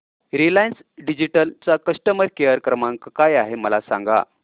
Reliance digital चा customer care क्रमांक काय आहे मला सांगा